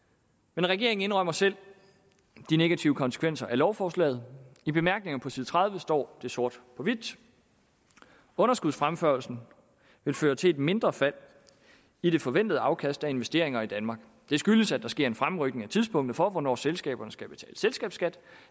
men regeringen indrømmer selv de negative konsekvenser af lovforslaget i bemærkningerne på side tredive står det sort på hvidt underskudsfremførslen vil føre til et mindre fald i det forventede afkast af investeringer i danmark det skyldes at der sker en fremrykning af tidspunktet for hvornår selskaberne skal betale selskabsskat